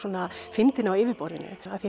fyndin á yfirborðinu